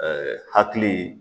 hakili